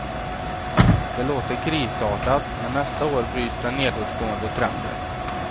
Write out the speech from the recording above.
Det låter krisartat, men nästa år bryts den nedåtgående trenden.